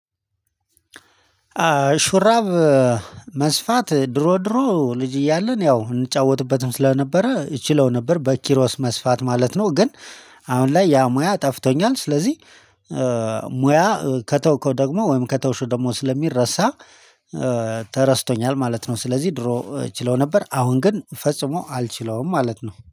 ሹራብ መስፋት ድሮ ድሮ ልጅ እያለን ያው እንጫወትበትም ስለነበረ እችለው ነበር በኪሮስ መስፋት ማለት ነው ግን አሁን ላይ ያ ሙያ ጠፍቶኛል። ስለዚህ ሙያ ከተውከው ደግሞ ወይም ከተውሽው ደግሞ ስለሚረሳ ተረስቶኛል ማለት ነው ስለዚህ ድሮ ችለው ነበር አሁን ግን ፈጽሞ አልችለውም ማለት ነው።